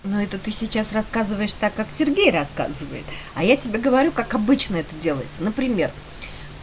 но это ты сейчас рассказываешь так как сергей рассказывает а я тебе говорю как обычно это делается например